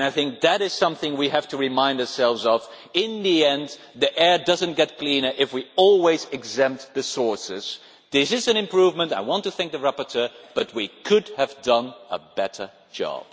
I think that is something we have to remind ourselves of in the end the air does not get cleaner if we always exempt the sources. This is an improvement, I want to thank the rapporteur, but we could have done a better job.